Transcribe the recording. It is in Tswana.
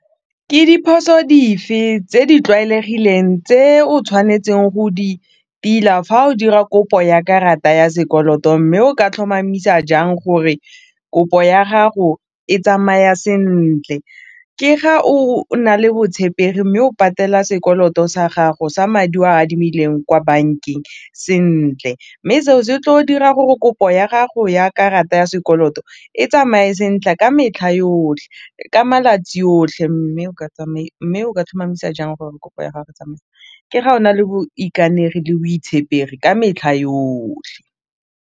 Ke diphoso dife tse di tlwaelegileng tse o tshwanetseng go di tila fa o dira kopo ya karata ya sekoloto mme o ka tlhomamisa jang gore kopo ya gago e tsamaya sentle, ke ga o na le botshepegi mme o patela sekoloto sa gago sa madi o a adimileng ko bankeng sentle mme seo se tlo dira gore kopo ya gago ya karata ya sekoloto e tsamaye ka metlha yotlhe, ka malatsi otlhe mme o ka tlhomamisa jang gore kopo ya ke ga o na le le botshepegi ka metlha yotlhe.